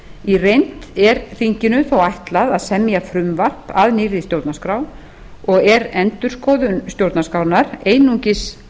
í reynd er þinginu þó ætlað að semja frumvarp að nýrri stjórnarskrá og er endurskoðun stjórnarskrárinnar einungis